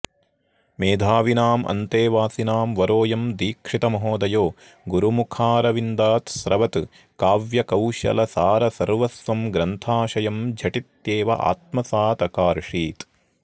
मेधाविनाम् अन्तेवासिनां वरोऽयं दीक्षितमहोदयो गुरुमुखारविन्दात् स्रवत्काव्यकौशलसारसर्वस्वं ग्रन्थाशयं झटित्येव आत्मसादकार्षीत्